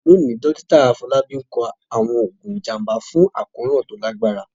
Lónìí, Dókítà Afọlábi ń kọ àwọn oògùn ìjàmbá fún àkóràn tó lágbára.